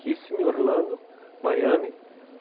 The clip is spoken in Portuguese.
Kissimmee, Orlando, Miami.